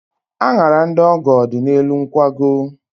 Añara ndị ọgọ dị n'elu nkwago.